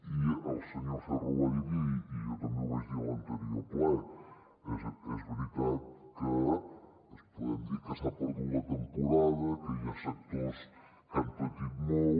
i el senyor ferro ho ha dit i jo també ho vaig dir l’anterior ple és veritat que podem dir que s’ha perdut la temporada que hi ha sectors que han patit molt